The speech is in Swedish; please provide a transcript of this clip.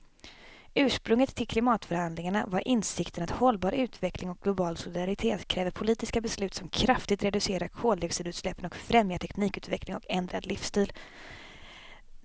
Ursprunget till klimatförhandlingarna var insikten att hållbar utveckling och global solidaritet kräver politiska beslut som kraftigt reducerar koldioxidutsläppen och främjar teknikutveckling och ändrad livsstil.